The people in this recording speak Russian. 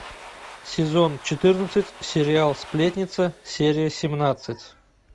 сезон четырнадцать сериал сплетница серия семнадцать